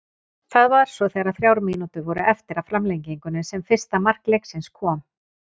Það var svo þegar þrjár mínútur voru eftir af framlengingunni sem fyrsta mark leiksins kom.